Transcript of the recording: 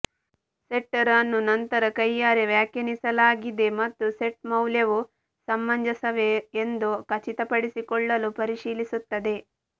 setter ಅನ್ನು ನಂತರ ಕೈಯಾರೆ ವ್ಯಾಖ್ಯಾನಿಸಲಾಗಿದೆ ಮತ್ತು ಸೆಟ್ ಮೌಲ್ಯವು ಸಮಂಜಸವೇ ಎಂದು ಖಚಿತಪಡಿಸಿಕೊಳ್ಳಲು ಪರಿಶೀಲಿಸುತ್ತದೆ